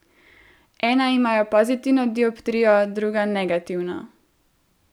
Ena imajo pozitivno dioptrijo, druga negativno.